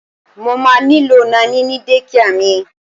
Mo má nílò Naní ní dékià mi.